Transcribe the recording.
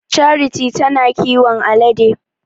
Charity ta na kiwon alade.